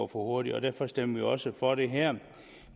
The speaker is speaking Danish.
hurtigt og derfor stemmer vi jo også for det her